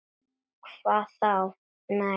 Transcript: Hvað þá., nei.